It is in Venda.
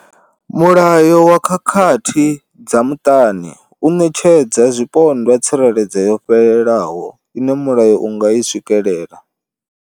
Mulayo wa khakhathi dza muṱani u ṋetshedza zwipondwa tsireledzo yo fhelelaho ine mulayo wa nga i swikela.